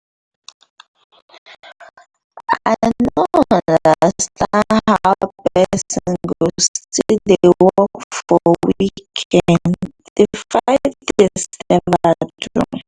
i no understand how person go still dey work for weekend the five days never do?